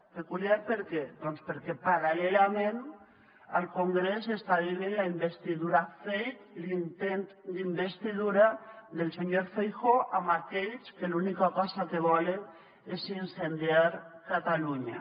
peculiar per què doncs perquè paral·lelament al congrés s’està vivint la investidura fake l’intent d’investidura del senyor feijóo amb aquells que l’única cosa que volen és incendiar catalunya